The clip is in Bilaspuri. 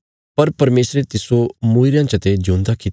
पर परमेशरे तिस्सो मूईरेयां चते ज्यूंदा कित्या